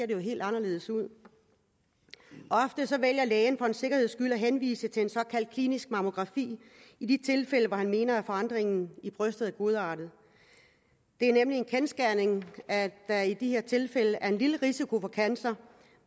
jo helt anderledes ud ofte vælger lægen for en sikkerheds skyld at henvise til en såkaldt klinisk mammografi i de tilfælde hvor han mener at forandringen i brystet er godartet det er nemlig en kendsgerning at der i de her tilfælde er en lille risiko for cancer